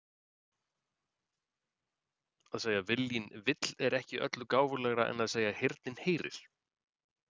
Að segja viljinn vill er ekki öllu gáfulegra en að segja heyrnin heyrir.